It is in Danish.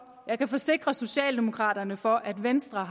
jeg kan forsikre socialdemokraterne for at venstre